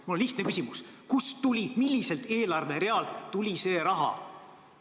Mul on lihtne küsimus: kust, milliselt eelarverealt tuli see raha?